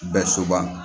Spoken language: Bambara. Bɛɛ so ban